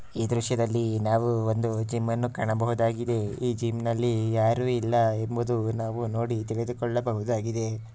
ಈ ದೃಶ್ಯದಲ್ಲಿ ನಾವು ಒಂದು ಜಿಮ್ ಅನ್ನು ಕಾಣಬಹುದಾಗಿದೆ ಈ ಜಿಮ್ನಲ್ಲಿ ಯಾರು ಇಲ್ಲ ಎಂಬುದು ನಾವು ನೋಡಿ ತಿಳಿದುಕೊಳ್ಳಬಹುದಾಗಿದೆ.